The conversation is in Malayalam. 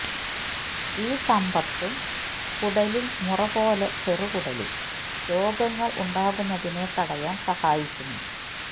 ഈ സമ്പത്തു കുടലിൽ മുറപോലെ ചെറുകുടലിൽ രോഗങ്ങൾ ഉണ്ടാകുന്നതിനെ തടയാൻ സഹായിക്കുന്നു